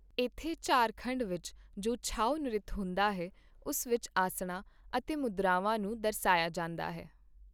ਇੱਥੇ ਝਾਰਖੰਡ ਵਿੱਚ ਜੋ ਛੌ ਨ੍ਰਿਤ ਹੁੰਦਾ ਹੈ ਉਸ ਵਿੱਚ ਆਸਣਾਂ ਅਤੇ ਮੁਦਰਾਵਾਂ ਨੂੰ ਦਰਸਾਇਆ ਜਾਂਦਾ ਹੈ।